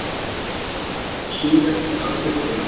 Það er suðrænt að uppruna